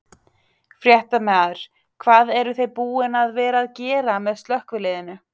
Fréttamaður: Hvað eruð þið búin að vera að gera með slökkviliðinu?